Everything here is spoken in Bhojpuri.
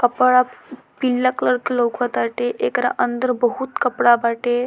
कपड़ा पीला कलर के लोका ताटे एकरा अंदर बहुत कपड़ा बाटे।